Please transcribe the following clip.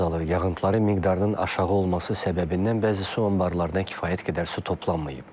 Yağıntıların miqdarının aşağı olması səbəbindən bəzi su anbarlarında kifayət qədər su toplanmayıb.